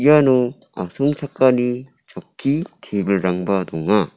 iano asongchakani chokki tebilrangba donga.